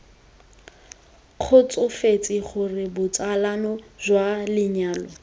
kgotsofetse gore botsalano jwa lenyalo